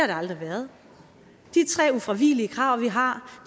det aldrig været de tre ufravigelige krav vi har